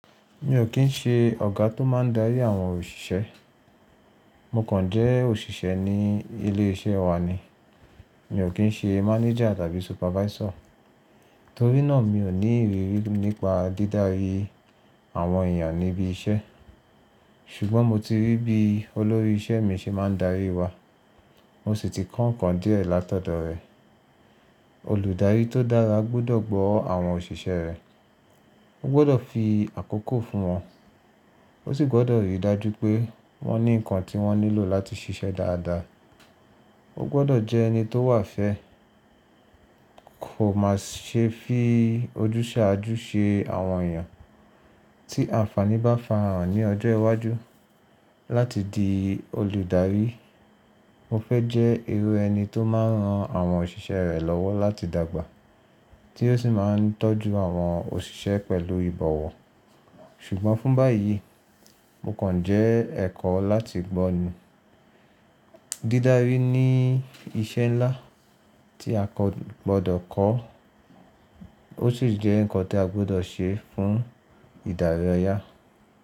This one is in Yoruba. Mi ò kí ń ṣe ọ̀gá tó máa ń darí àwọn òṣìṣẹ́. Mo kàn jẹ́ òṣìṣẹ́ ní ilé iṣẹ́ wa ni. Mi ò kí ń ṣe mánéjà tàbí supervisor. Torí náà mi ò ní ìrírí nípa dídárí àwọn èèyàn níbi iṣẹ́. Ṣùgbọ́n mo ti rí bí olórí iṣẹ́ mi ṣe máa ń darí wa. Mo sì ti kọ́ ǹkan díẹ̀ látọ̀dọ̀ rẹ̀. Olùdarí tó dára gbọ́dọ̀ gbọ́ àwọn òṣìṣẹ́ rẹ̀. Ó gbọ́dọ̀ fi àkókò fún wọn. Ó sì gbọ́dọ̀ rí i dájú pé wọ́n ní ǹkan tí wọ́n nílò láti ṣiṣẹ́ dáadáa. Ó gbọ́dọ̀ jẹ́ ẹni tó wà fẹ́. Kò má ṣe fi ojúṣàájú ṣe àwọn èèyàn tí àǹfàní bá farahàn ní ọjọ́ iwájú. Láti di olùdarí, mo fẹ́ jẹ́ irú ẹni tó máa rán àwọn òṣìṣẹ́ rẹ̀ lọ́wọ́ láti dàgbà, tí yóò sì máa ń tọ́jú àwọn òṣìṣẹ́ pẹ̀lú ìbọ̀wọ̀. Ṣùgbọ́n fún báyìí, mo kàn jẹ́ ẹ̀kọ́ láti gbọ́ ni. Dídárí ni iṣẹ́ ńlá tí a kò gbọ́dọ̀ kọ́. Ó sì jẹ́ ǹkan tí a gbọ́dọ̀ ṣe fún ìdarí ọyá.